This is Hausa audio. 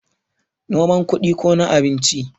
noman kudi ko na abinci?